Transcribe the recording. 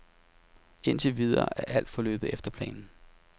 Indtil videre er alt forløbet efter planen.